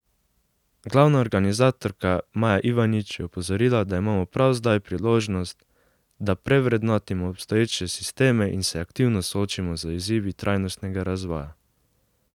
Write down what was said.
Glavna organizatorka Maja Ivanič je opozorila, da imamo prav zdaj priložnost, da prevrednotimo obstoječe sisteme in se aktivno soočimo z izzivi trajnostnega razvoja.